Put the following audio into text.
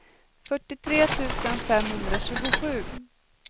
fyrtiotre tusen femhundratjugosju